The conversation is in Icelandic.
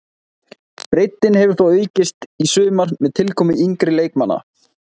Breiddin hefur þó aukist í sumar með tilkomu yngri leikmanna.